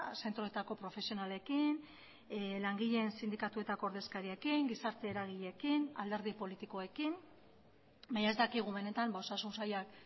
zentroetako profesionalekin langileen sindikatuetako ordezkariekin gizarte eragileekin alderdi politikoekin baina ez dakigu benetan osasun sailak